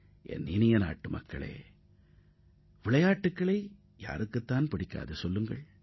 எனதருமை நாட்டு மக்களே விளையாட்டை விரும்பாதவர்கள் யார் இருப்பார்கள்